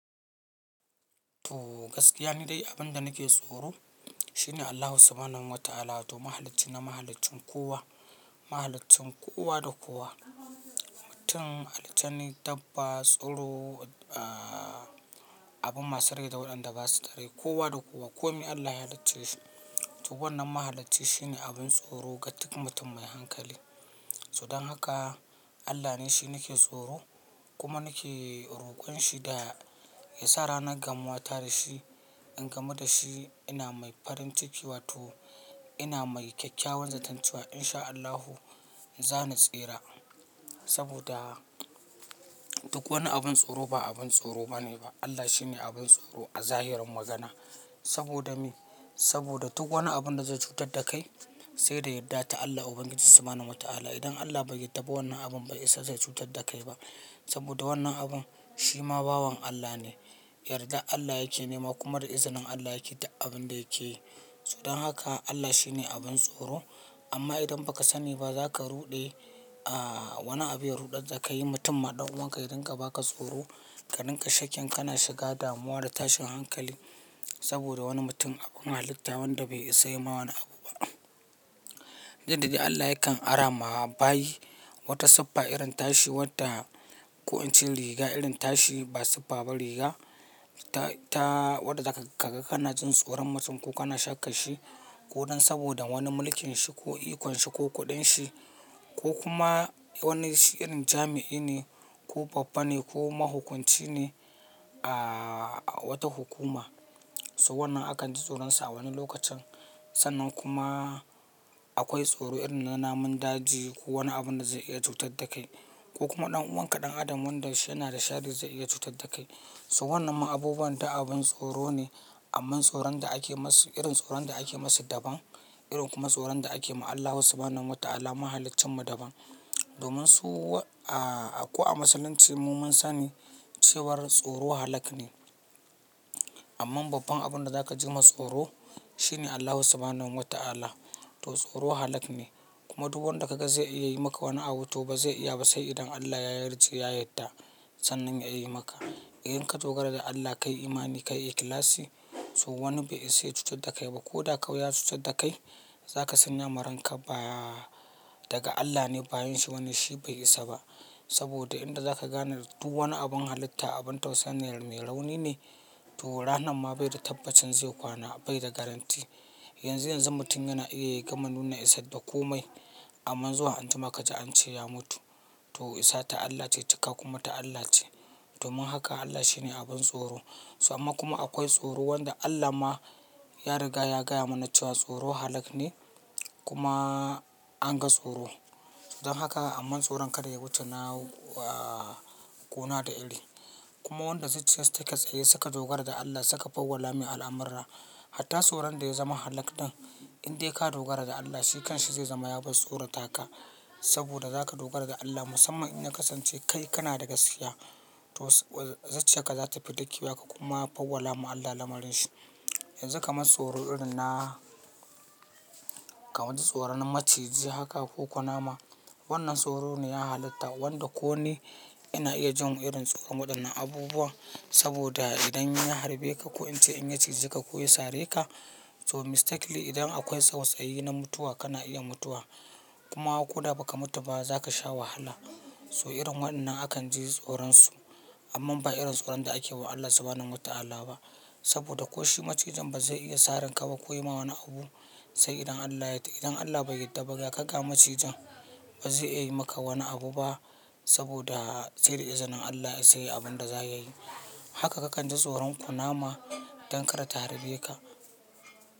Toh, gaskiya nidai abinda nake tsoro shine Allahu samanun wata'ala to mahaliccina mahaliccin kowa mahaliccin kowa da kowa mutun aljani, dabba, tsuro, abin masu rai da waɗanda ba su da rai, kowa da kowa. Ko me Allah ya halicce shi. To wannan mahalacci shine abin tsoro ga duk mutum mai hankali. To dan haka Allah ni shi nike tsoro kuma nake rokonshi da yasa ranar gamuwata dashi in gamu da shi ina mai farin ciki wato ina mai kyakkyawan zatan cewa in sha Allahu zan tsira. Saboda duk wani abun tsoro ba abun tsoro ba ne ba. Allah shine abun tsoro a zahirin magana. Saboda me? Saboda duk wani abun da zai cutadda kai sai da yardar Allah ubangiji subhanahu wa ta'ala. Idan Allah bai yadda ba wannan abun bai isa zai cutar da kai ba. Saboda wannan abun shi ma bawan Allah ne. Yarda Allah yake nema kuma da izinin Allah yake dik abin da yake yi. So don haka Allah shine abun tsoro. Amma idan ba ka sani ba za ka ruɗe wani abin ya ruɗadda kai mutum ma ɗan uwanka yadinga idan ka ba ka tsoro ka ninka shakin ka na shiga damuwa da tashin hankali saboda wani mutum abun halitta wanda bai isa ya ma wani abu ba. Inda de Allah yakan ara ma bayi wata sippa irin tashi wadda ko ince riga irin tashi ba sippa ba riga ta ta wadda zaka ka-kaga kana jin tsoron mutum ko kana shakka shi ko dan saboda wani mulkin shi ko ikon shi ko kuɗin shi ko kuma wani shi irin jami'i ne ko babba ne ko mahukunci ne a wata hukuma. So wannan akan ji tsoron sa a wani lokacin. Sannan kuma akwai tsoro irin na namun daji ko wani abun da ze iya cutar da kai ko kuma ɗan'uwanka ɗan adam wanda shi yana da sharri ze iya cutar da kai. So wannan ma abubuwan da abun tsoro ne amma tsoron da ake masu irin tsoron da ake masu daban. Irin kuma tsoron da ake ma Allahu subhanahu wa ta'ala mahalaccin mu daban. Domin su a ƙu a Musulunci mu mun sani cewar tsoro halak ne. Amma babban abun da za ka ji ma tsoro shine Allahu subhanahun wa ta'ala. To tsoro halak ne kuma duwwanda ka ga ze iya yi maka wani abu to ba zai iya ba sai idan Allah ya yarje ya yadda sannan ya yi maka. In ka dogara da Allah kai imani kai ikhlasi so wani be isa ya cutar da kai ba. Ko da kau ya cutar da kai za ka san yamaranka ba daga Allah ne bayin shi bane shi bai isa ba. Saboda inda za ka gane duwwani abun halitta abun tausaini mai rauni ne to ranan ma bai da tabbacin ze kwana bai da garanti. Yanzu yanzu mutum yana iya yai gama nuna Isadda ko mai amman zuwa anjima ka ji an ce ya mutu. To Isa ta Allah ce tika kuma ta Allah ce. Domin haka Allah shine abun tsoro. To amma kuma akwai tsoro wanda Allahn ma ya riga ya gaya mana cewa tsoro halak ne kuma an ga tsoro. Don haka amma tsoron kada ya wuce na kona da iri. Kuma wanda zucciyassa take tsaye suka dogara da Allah suka fawwala me al'amurra. Hatta tsoran daya zama halak din inde kadogara da Allah shi kashi ze zama yaba-tsorata ka saboda za ka dogara da Allah musamman in ya kasance kai kana da gaskiya to zucciyakka za tafi dakewa ka kuma fawwala ma Allah lamarin shi. Yanzu kama-tsoro irinna kamad tsoran maciji haka ko kunama wannan tsoro ne ya halitta wanda ko ni yana iya jin irin tsoron waɗannan abubuwan saboda idan ya harbe ka ko in ce in ya ciji ka ko ya sare ka to mistakenly idan akwai tsawatsayi na mutuwa kana iya mutuwa. Kuma ko da ba ka mutu ba za ka sha wahala. To irin waɗannan akan ji tsoron su amman ba irin tsoron da ake wa Allah subhanan wa ta'ala ba. Saboda ko shi macijin ba zai iya sarin ka ba ko ya ma wani abu sai idan Allah ya yadda. Idan Allah bai yarda ba ga ka ga macijin ba ze iya yi maka wani abu ba saboda sai da izinin Allah seya abin da za ya yi. Haka ka kan ji tsoron kuna ma dan kada ta harbe ka.